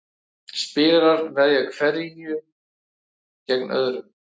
Spilarar veðja hverjir gegn öðrum.